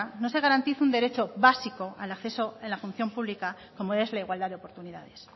no se garantice un derecho básico al acceso en la función pública como es la igualdad de oportunidades